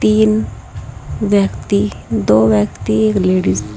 तीन व्यक्ति दो व्यक्ति एक लेडीज --